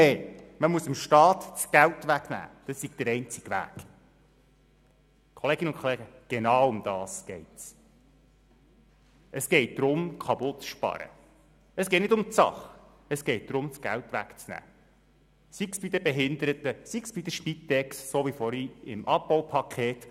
Bei den jungen Erwachsenen, die sich nicht in einer Ausbildung befinden, senken wir den Betrag auf 529 Franken, im Einpersonen-Haushalt gehen wir auf 887 Franken, bei den vorläufig Aufgenommenen auf 838 Franken.